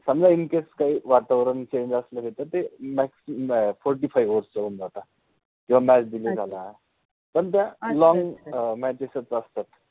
समजा in case काहि वातावरन change असल तर ते fourty-fifty over चे होउन जातात, जेव्हा match delay झाल्या, पण त्या long matches असतात.